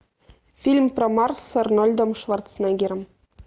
фильм про марс с арнольдом шварценеггером